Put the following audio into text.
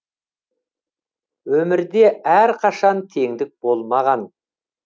өмірде әр қашан теңдік болмаған